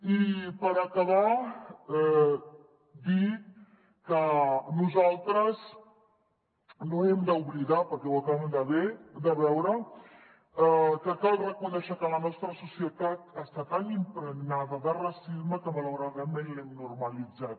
i per acabar dir que nosaltres no hem d’oblidar perquè ho acabem de veure que cal reconèixer que la nostra societat està tan impregnada de racisme que malauradament l’hem normalitzat